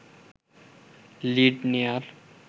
lead নেয়ার